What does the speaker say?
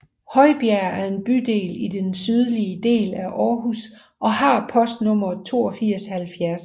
Højbjerg er en bydel i den sydlige del af Aarhus og har postnummeret 8270